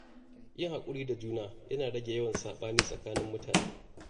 Yin hakuri da juna yana rage yawan sabani tsakanin mutane.